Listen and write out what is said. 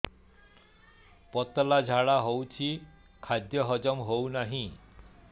ପତଳା ଝାଡା ହେଉଛି ଖାଦ୍ୟ ହଜମ ହେଉନାହିଁ